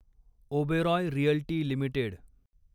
Oberoi realty limited